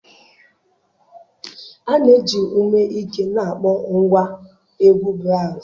A na-eji ume ike na-akpọ ngwa egwu braazụ